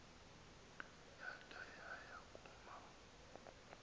yada yaya kuma